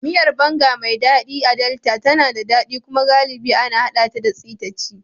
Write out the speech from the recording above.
Miyar Banga, mai daɗi a Delta, tana da daɗi kuma galibi ana haɗa ta da sitaci.